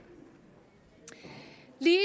lige